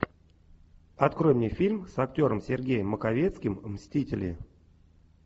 открой мне фильм с актером сергеем маковецким мстители